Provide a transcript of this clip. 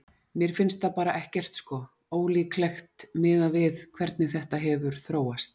Mér finnst það bara ekkert sko, ólíklegt miðað við hvernig þetta hefur þróast.